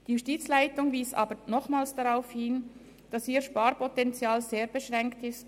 Die Justizleitung wies aber nochmals darauf hin, dass ihr Sparpotenzial sehr beschränkt sei.